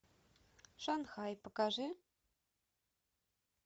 шанхай покажи